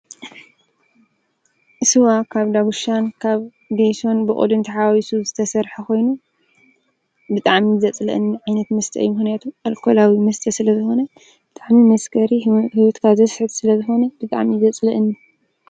ስዋ ካብ ዳጕሻን ካብ ጌይሶን ብኦድንቲሓዋሱ ዝተሠርሐ ኾይኑ፤ ብጣም ዪ ዘጽልእንኒ ዓይነት ምስተአ ምሕነያቱ ኣልኮላዊ ምስጠ ስለ ዝኾነ ብጥዕሚል ምስገሪ ሕወትካ ዘስሕት ስለ ዝኾነ ድጣም ዪ ዘጽልአን።